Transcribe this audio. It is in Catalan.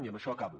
i amb això acabo